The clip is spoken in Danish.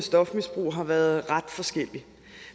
stofmisbrug har været ret forskellig